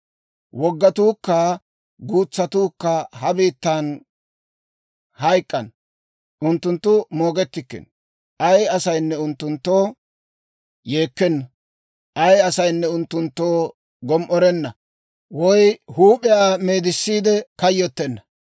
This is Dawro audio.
Woggaatuukka guutsatuukka ha biittan hayk'k'ana; unttunttu moogettikkino. Ay asaynne unttunttoo yeekkena; ay asaynne unttunttoo gom"orenna woy huup'iyaa meedissiide kayyottenna.